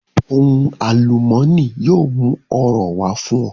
Ohun àlùmọ́nì yóò mú ọrọ̀ wá fún ọ